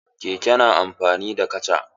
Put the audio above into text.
Keke na amfani da kaca.